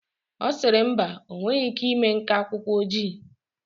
Ọ sịrị mba, ọ nweghị ike ịme nka akwụkwọ ojii.